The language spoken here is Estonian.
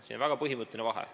Siin on väga põhimõtteline vahe.